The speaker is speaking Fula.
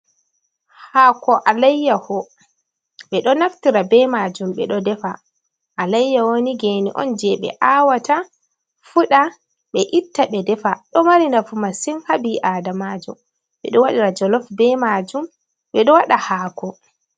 Hako alayyaho ɓe ɗo naftira be majum, ɓe ɗo defa alayyaho ni gene on je ɓe awata fuda ɓe itta ɓe defa, ɗo mari nafu masin ha ɓii adamajl ɓe ɗo wadi ra jolof be majum ɓeɗo waɗa hako.